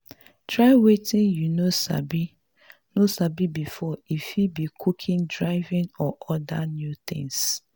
try wetin you no sabi no sabi before e fit be cooking driving or oda new things